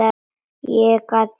Ég gat ráðið öllu.